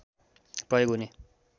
प्रयोग हुने